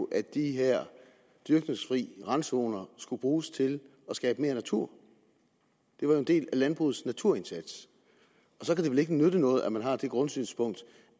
at de her dyrkningsfri randzoner skulle bruges til at skabe mere natur det var jo en del af landbrugets naturindsats og så kan det vel ikke nytte noget at man har det grundsynspunkt